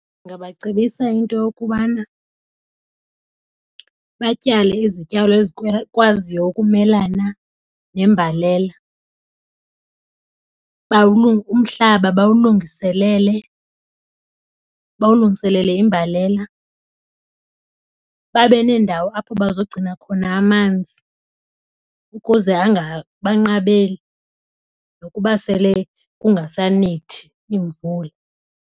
Ndingabacebisa into yokubana batyale izityalo ezikwaziyo ukumelana nembalela, umhlaba bawulungiselele, bawulungiselele imbalela. Babe neendawo apho bazogcina khona amanzi ukuze angabanqabeli nokuba sele kungasanethi iimvula.